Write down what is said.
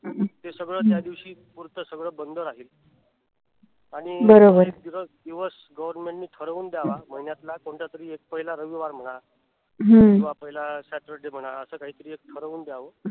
हे सगळ त्यादिवशी पुढच सगळ बंद राहील. आणि एक दिवस government नि ठरवून द्यावा. महिन्यातला कोणता तरी एक पहिला रविवार म्हणा किंवा पहिला saturday म्हणा अस काहीतरी एक ठरवून द्याव.